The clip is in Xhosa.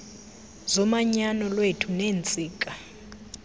zomanyano lwethu neentsika